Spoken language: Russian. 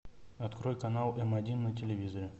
открой канал эм один на телевизоре